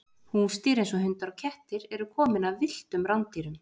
húsdýr eins og hundar og kettir eru komin af villtum rándýrum